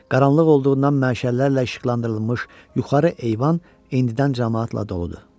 Qaranlıq olduğundan məşəllərlə işıqlandırılmış yuxarı eyvan indidən camaatla doludur.